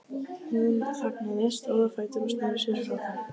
Hún þagnaði, stóð á fætur og sneri sér frá þeim.